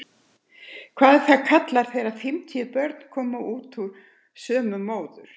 Hvað er það kallað þegar fimmtíu börn koma út úr sömu móður?